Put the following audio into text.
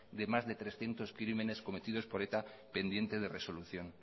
de más de trescientos crímenes cometidos por eta pendientes de resolución